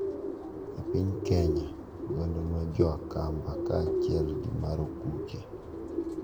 E piny Kenya, oganda mar jo Akamba kaachiel gi mar Okuche,